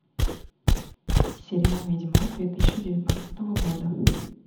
сериал ведьмак две тысячи девятнадцатого года